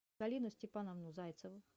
галину степановну зайцеву